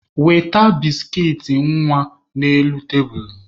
Weta biskit nwa n'elu tebulu!